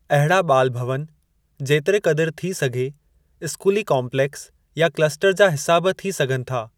अहिड़ा 'ॿाल भवन' जेतिरे क़दुरु थी सघे, स्कूली काम्पलेक्स या क्लस्टर जा हिसा बि थी सघनि था।